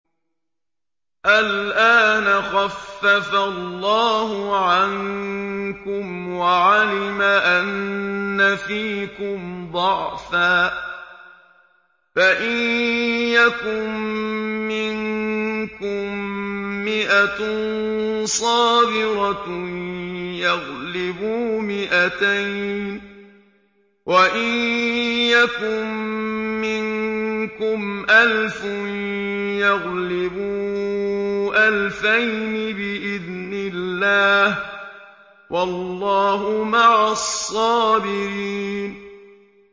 الْآنَ خَفَّفَ اللَّهُ عَنكُمْ وَعَلِمَ أَنَّ فِيكُمْ ضَعْفًا ۚ فَإِن يَكُن مِّنكُم مِّائَةٌ صَابِرَةٌ يَغْلِبُوا مِائَتَيْنِ ۚ وَإِن يَكُن مِّنكُمْ أَلْفٌ يَغْلِبُوا أَلْفَيْنِ بِإِذْنِ اللَّهِ ۗ وَاللَّهُ مَعَ الصَّابِرِينَ